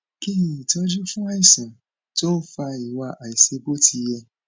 kí ni itoju fún àìsàn tó ń fa iwa aisebotiye